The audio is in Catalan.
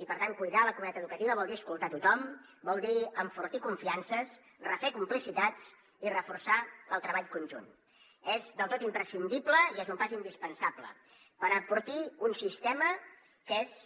i per tant cuidar la comunitat educativa vol dir escoltar tothom vol dir enfortir confiances refer complicitats i reforçar el treball conjunt és del tot imprescindible i és un pas indispensable per enfortir un sistema que és